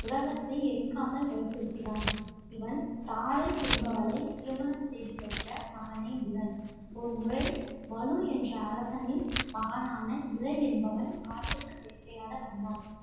உலகத்தை எரிக்காமல் வைத்திருக்கிறான். இவன் தாரை என்பவளைத் திருமணம் செய்து பெற்ற மகனே புதன். ஒரு முறை மநு என்ற அரசனின் மகனான இளை என்பவன் காட்டுக்கு வேட்டையாட வந்தான்.